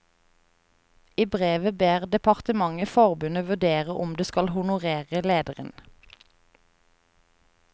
I brevet ber departementet forbundet vurdere om det skal honorere lederen.